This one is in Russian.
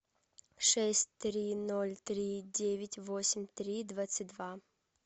шесть три ноль три девять восемь три двадцать два